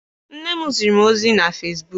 Nne m ziri m ozi na Fesbuk.